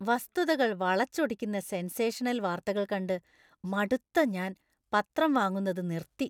വസ്തുതകൾ വളച്ചൊടിക്കുന്ന സെൻസേഷണൽ വാർത്തകൾ കണ്ട് മടുത്ത ഞാൻ പത്രം വാങ്ങുന്നത് നിർത്തി.